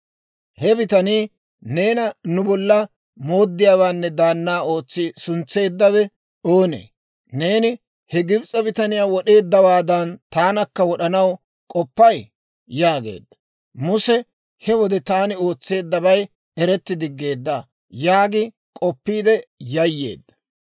He bitanii, «Neena nu bolla mooddiyaawaanne daanna ootsi suntseeddawe oonee? Neeni he Gibs'e bitaniyaa wod'eeddawaadan, taanakka wod'anaw k'oppay?» yaageedda. Muse he wode, «Taani ootseeddabay eretti diggeedda» yaagi k'oppiide yayyeedda.